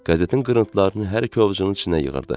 Qəzetin qırıntılarını hər iki ovcunun içinə yığırdı.